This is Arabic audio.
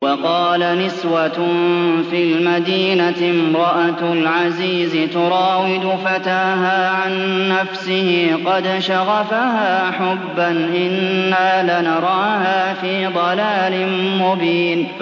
۞ وَقَالَ نِسْوَةٌ فِي الْمَدِينَةِ امْرَأَتُ الْعَزِيزِ تُرَاوِدُ فَتَاهَا عَن نَّفْسِهِ ۖ قَدْ شَغَفَهَا حُبًّا ۖ إِنَّا لَنَرَاهَا فِي ضَلَالٍ مُّبِينٍ